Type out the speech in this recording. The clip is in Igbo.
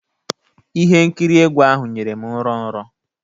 Ihe nkiri egwu ahụ nyere m nrọ nrọ.